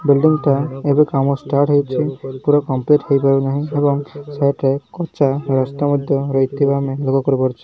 Building ଟା ଏବେ କାମ ଷ୍ଟାଟ ହେଇଚି ପୁରା କମ୍ପ୍ଲିଟ ହେଇପାରୁନାହିଁ। ଏବଂ ସାଇଟ୍ ରେ ରେ କଚା ରାସ୍ତା ମଧ୍ୟ ରହିଥିବା ଆମେ ଲୋଗ କରିପାରୁଚୁ।